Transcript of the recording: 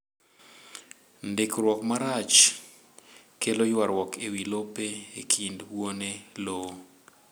Ndikruok marach kelo ywarruok ewi lope e kind wuone lowo